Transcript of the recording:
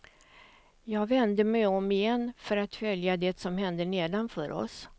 Jag vände mig om igen för att följa det som hände nedanför oss.